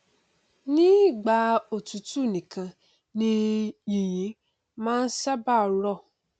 ní ìgbà òtútù nìkan ni yìnyín máa n ṣábàá rọ